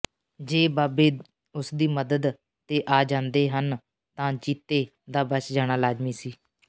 ਜੇ ਬਾਬੇ ਉਸਦੀ ਮਦਦ ਤੇ ਆ ਜਾਂਦੇ ਹਨ ਤਾਂ ਜੀਤੇ ਦਾ ਬਚ ਜਾਣਾ ਲਾਜ਼ਮੀ ਸੀ